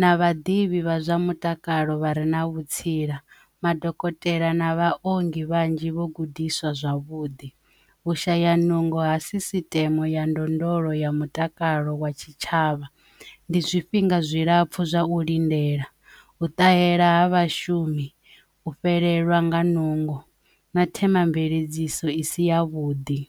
na vhaḓivhi vha zwa mutakalo vha re na vhutsila madokotela na vharengi vhanzhi vho gudiswa zwavhuḓi vhushaya nungo ha sisiteme ya ndondolo ya ralo wa tshitshavha ndi zwifhinga zwilapfhu zwa u lindela u ṱahela ha vhashumi u fhelelwa nga nungo na themamveledziso isi ya vhuḓi.